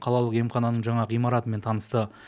қалалық емхананың жаңа ғимаратымен танысты